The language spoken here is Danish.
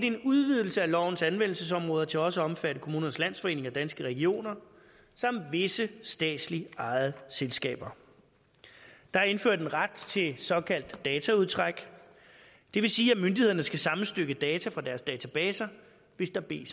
en udvidelse af lovens anvendelsesområde til også at omfatte kommunernes landsforening og danske regioner samt visse statsligt ejede selskaber der er indført en ret til såkaldt dataudtræk det vil sige at myndighederne skal sammenstykke data fra deres databaser hvis der bliver